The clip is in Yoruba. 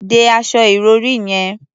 De aṣọ ìrọ̀rí yẹn.